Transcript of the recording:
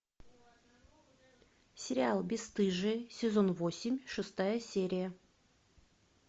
сериал бесстыжие сезон восемь шестая серия